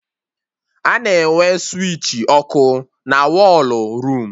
A na-enwe switchi ọkụ na wọlụ room